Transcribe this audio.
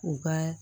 U ka